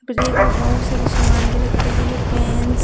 break में बहुत सारे सामान भी रखे गए हैं पेन्स --